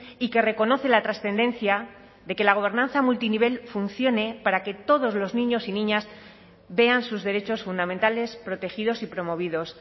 y que reconoce la trascendencia de que la gobernanza multinivel funcione para que todos los niños y niñas vean sus derechos fundamentales protegidos y promovidos